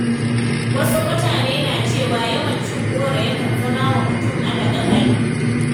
Wasu mutane na cewa yawan cin goro yakan zama wa mutum ala-ƙaiƙai.